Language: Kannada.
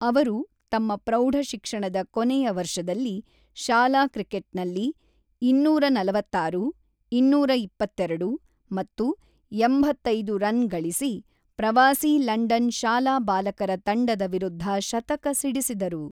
ಅವರು ತಮ್ಮ ಪ್ರೌಢ ಶಿಕ್ಷಣದ ಕೊನೆಯ ವರ್ಷದಲ್ಲಿ ಶಾಲಾ ಕ್ರಿಕೆಟ್‌ನಲ್ಲಿ ಇನ್ನೂರ ನಲವತ್ತಾರು, ಇನ್ನೂರ ಇಪ್ಪತ್ತೆರಡು ಮತ್ತು ಎಂಬತ್ತೈದು ರನ್ ಗಳಿಸಿ, ಪ್ರವಾಸೀ ಲಂಡನ್ ಶಾಲಾಬಾಲಕರ ತಂಡದ ವಿರುದ್ಧ ಶತಕ ಸಿಡಿಸಿದರು.